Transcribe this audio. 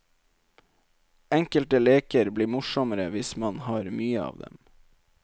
Enkelte leker blir morsommere hvis man har mye av dem.